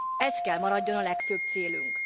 Ez kell maradjon a legfőbb célunk.